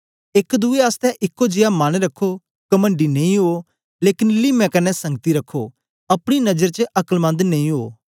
एक दुए आसतै एक्को जियां मन रखो कमणडी नेई उवो लेकन लीमें कन्ने संगति रखो अपनी नजर च अकलमन्द नेई उवो